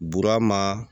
Burama